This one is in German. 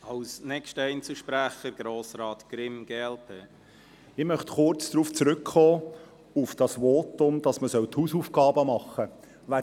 Ich möchte kurz auf das Votum zurückkommen, wonach man die Hausaufgaben machen solle.